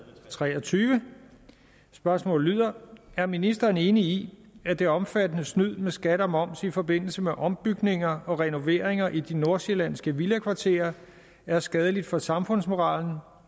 tre og tyve spørgsmålet lyder er ministeren enig i at det omfattende snyd med skat og moms i forbindelse med ombygninger og renoveringer i de nordsjællandske villakvarterer er skadeligt for samfundsmoralen